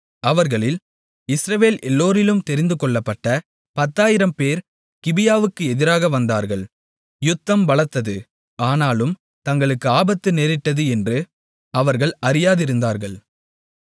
அவர்களில் இஸ்ரவேல் எல்லோரிலும் தெரிந்துகொள்ளப்பட்ட 10000 பேர் கிபியாவுக்கு எதிராக வந்தார்கள் யுத்தம் பலத்தது ஆனாலும் தங்களுக்கு ஆபத்து நேரிட்டது என்று அவர்கள் அறியாதிருந்தார்கள்